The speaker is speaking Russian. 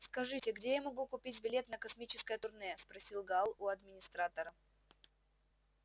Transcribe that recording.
скажите где я могу купить билет на космическое турне спросил гаал у администратора